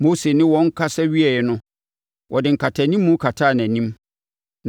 Mose ne wɔn kasa wieeɛ no, ɔde nkatanimu kataa nʼanim,